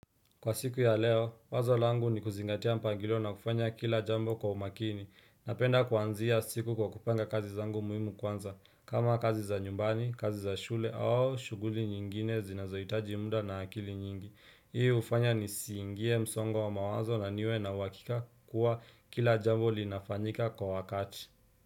Kwa siku ya leo, wazo langu ni kuzingatia mpangilio na kufanya kila jambo kwa umakini. Napenda kuanzia siku kwa kupanga kazi zangu muhimu kwanza. Kama kazi za nyumbani, kazi za shule au shughuli nyingine zinazoitaji muda na akili nyingi. Hii ufanya ni siingie msongo wa mawazo na niwe na huakika kuwa kila jambo linafanyika kwa wakati.